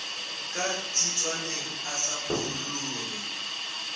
ka tshitswaneng a sa phurolloge